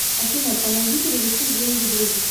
афина помоги перевести деньги другу